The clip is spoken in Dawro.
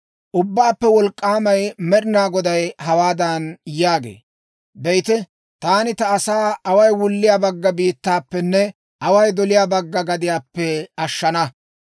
Ubbaappe Wolk'k'aamay Med'inaa Goday hawaadan yaagee; ‹Be'ite, taani ta asaa away wulliyaa bagga biittaappenne away doliyaa bagga gadiyaappe ashshana.